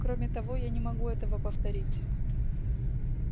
кроме того я не могу этого повторить